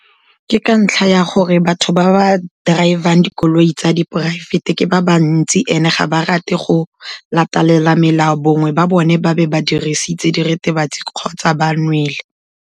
Ke ka ntlha ya gore batho ba ba drive-ang dikoloi tsa diporaefete ke ba bantsi, and-e ga ba rate go latelela melao, bongwe ba bone ba be ba dirisitse diritibatsi kgotsa ba nwele.